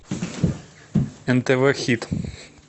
нтв хит